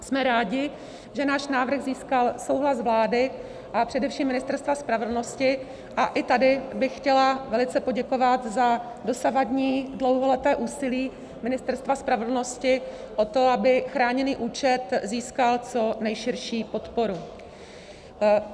Jsme rádi, že náš návrh získal souhlas vlády a především Ministerstva spravedlnosti, a i tady bych chtěla velice poděkovat za dosavadní dlouholeté úsilí Ministerstva spravedlnosti o to, aby chráněný účet získal co nejširší podporu.